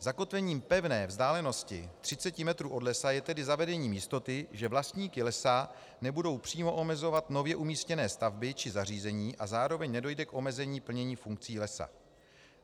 Zakotvením pevné vzdálenosti 30 metrů od lesa je tedy zavedení jistoty, že vlastníky lesa nebudou přímo omezovat nově umístěné stavby či zařízení a zároveň nedojde k omezení plnění funkcí lesa.